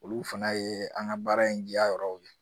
Olu fana ye an ka baara in diya yɔrɔw ye